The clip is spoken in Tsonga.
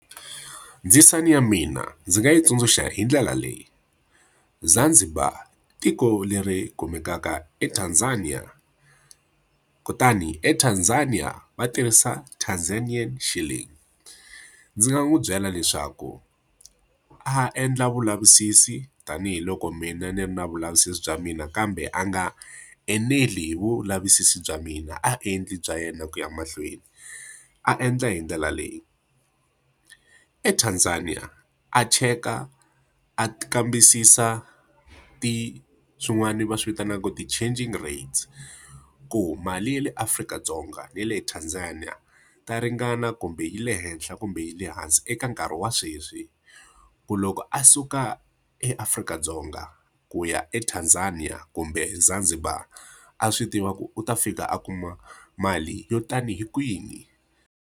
Ndzisana ya mina ndzi nga yi tsundzuxa hi ndlela leyi. Zanzibar i tiko leri kumekaka eTanzania, kutani eTanzania va tirhisa Tanzanian shilling. Ndzi nga n'wi byela leswaku a endla vulavisisi tanihiloko mina ni ri na vulavisisi bya mina. Kambe a nga eneli hi vulavisisi bya mina, a endle bya yena ku ya emahlweni. A endla hi ndlela leyi. ETanzania a cheka a kambisisa swin'wana va swi vitanaka ti-changing rates, ku mali ya le Afrika-Dzonga na le Tanzania ta ringana kumbe yi le henhla kumbe yi le hansi eka nkarhi wa sweswi. Ku loko a suka eAfrika-Dzonga, ku ya eTanzania kumbe Zanzibar, a swi tiva ku u ta fika a kuma mali yo tanihi kwini.